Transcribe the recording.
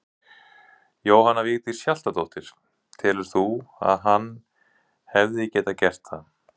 Jóhanna Vigdís Hjaltadóttir: Telur þú að hann hefði getað gert það?